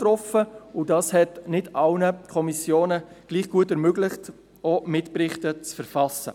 Deshalb war es nicht allen Kommissionen gleich gut möglich, Mitberichte zu verfassen.